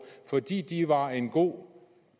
fordi det var en god